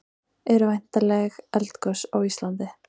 eru væntanleg eldgos á íslandi